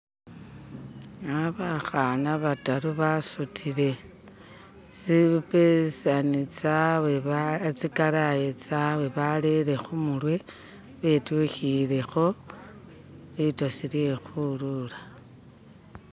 eha bakhana bataru basutile tsi pesani tsawe tsikalayi tsawe balele khumurwe betwikhilekho litosi lye khwilula.